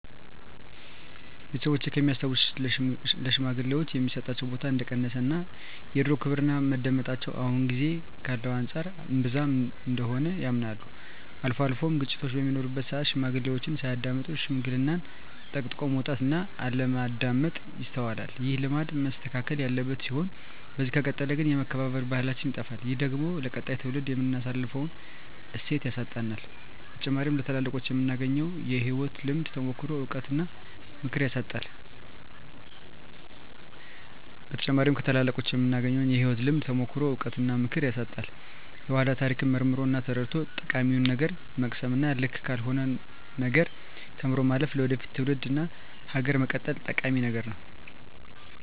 ቤተሰቦቼ ከሚያስታውሱት ለሽማግሌወች የሚሰጣቸው ቦታ እንደቀነሰ እና የድሮው ክብርና መደመጣቸው አሁን ጊዜ ካለው አንፃር እንብዛም እንደሆነ ያምናሉ። አልፎ አልፎም ግጭቶች በሚኖሩበት ስአት ሽማግሌዎችን ሳያዳምጡ ሽምግልናን ጠቅጥቆ መውጣት እና አለማዳመጥ ይስተዋላል። ይህ ልማድ መስተካከል ያለበት ሲሆን በዚህ ከቀጠለ ግን የመከባበር ባህላችን ይጠፋል። ይህ ደግሞ ለቀጣይ ትውልድ የምናስተላልፈውን እሴት ያሳጣናል። በተጨማሪም ከታላላቆቹ የምናገኘውን የህይወት ልምድ፣ ተሞክሮ፣ እውቀት እና ምክር ያሳጣናል። የኃላን ታሪክ መርምሮ እና ተረድቶ ጠቃሚውን ነገር መቅሰም እና ልክ ካልሆነው ነገር ተምሮ ማለፍ ለወደፊት ትውልድ እና ሀገር መቀጠል ጠቂሚ ነገር ነው።